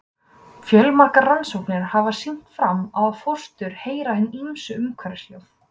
Fjölmargar rannsóknir hafa sýnt fram á að fóstur heyra hin ýmsu umhverfishljóð.